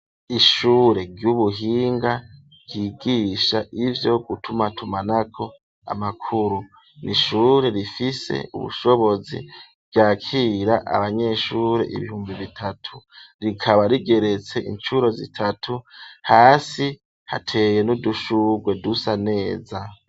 Ishure ry'ubuhinga ryigisha ivyo gutumatumanako amakuru, ni ishure rifise ubushobozi ryakira abanyeshure ibihumbi bitatu, rikaba rigeretse incuro zitatu hasi hateye n'udushurwe dusa neza.